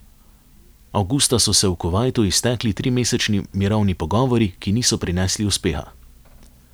Avgusta so se v Kuvajtu iztekli trimesečni mirovni pogovori, ki niso prinesli uspeha.